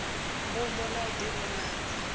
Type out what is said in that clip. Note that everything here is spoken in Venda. mbumbo na u di vhonadza